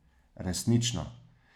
Resnično.